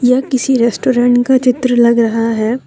यह किसी रेस्टोरेंट का चित्र लग रहा है।